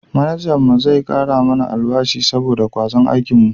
Manajan mu zai kara mana albashi saboda kwazon aikin mu